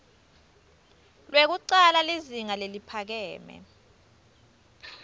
lwekucala lizinga leliphakeme